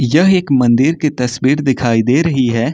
यह एक मंदिर की तस्वीर दिखाई दे रही है।